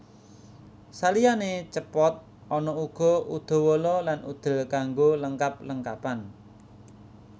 Saliyane Cepot ana uga Udawala lan Udel kanggo lengkap lengkapan